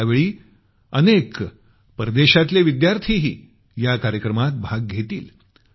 आणि यावेळी अनेक परदेशांतले विद्यार्थीही या कार्यक्रमात भाग घेतील